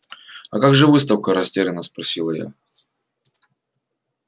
а как же выставка растеряно спросила я